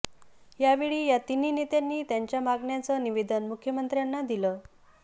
यावेळी या तिन्ही नेत्यांनी त्यांच्या मागण्यांचं निवेदन मुख्यमंत्र्यांना दिलं